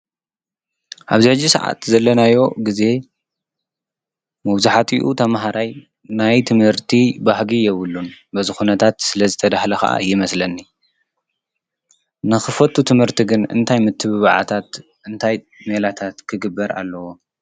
ኣብዛዙ ሰዓት ዘለናዮ ጊዜ መውዙኃቲኡ ተምሃራይ ናይ ትምህርቲ ባህጊ የብሉን በዝኾነታት ስለ ዝተዳህለ ኸዓ እይመስለኒ ንኽፈቱ ትመህርቲ ግን እንታይ ምትብባዓታት እንታይ ኔላታት ክግበር ኣለዎ።